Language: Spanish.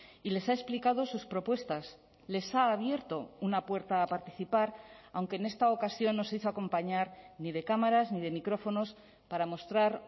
y les ha explicado sus propuestas les ha abierto una puerta a participar aunque en esta ocasión no se hizo acompañar ni de cámaras ni de micrófonos para mostrar